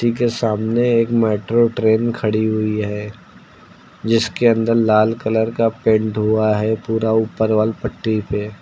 के सामने एक मेट्रो ट्रेन खड़ी हुई है जिसके अंदर लाल कलर का पेंट हुआ है पूरा ऊपर वॉल पट्टी पे।